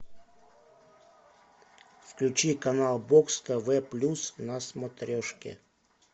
включи канал бокс тв плюс на смотрежке